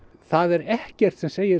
það er ekkert sem segir